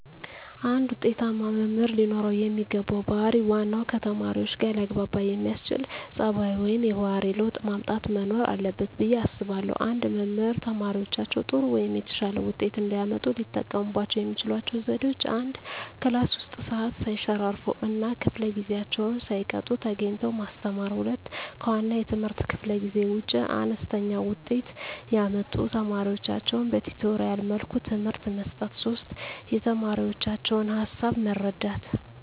አንድ ውጤታማ መምህር ለኖረው የሚገባው ባህር ዋናው ከተማሪዎቹጋ ሊያግባባ የሚያስችል ፀባዩ ወይም የባህሪ ለውጥ ማምጣት መኖር አለበት ብየ አስባለሁ። አንድ መምህር ተማሪዎቻቸው ጥሩ ወይም የተሻለ ውጤት እንዲያመጡ ሊጠቀሙባቸው የሚችሏቸው ዘዴዎች፦ 1, ክላስ ውስጥ ሰዓት ሰይሸራርፍ እና ከፈለ ጊዜአቸውን ሳይቀጡ ተገኝተው ማስተማር። 2, ከዋና የትምህርት ክፍለ ጊዜ ውጭ አነስተኛ ውጤት ያመጡ ተማሪዎቻቸውን በቲቶሪያል መልኩ ትምህርት መስጠት። 3, የተማሪዎቻቸውን ሀሳብ መረዳት